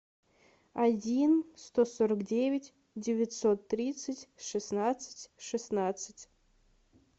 один сто сорок девять девятьсот тридцать шестнадцать шестнадцать